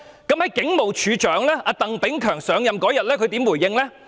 警務處處長鄧炳強在上任當天怎樣回應這事？